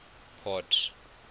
port